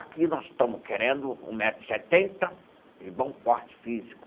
Aqui nós estamos querendo um metro e setenta e bom porte físico.